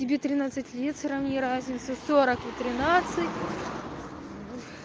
тебе тринадцать лет сравни разницу сорок и тринадцать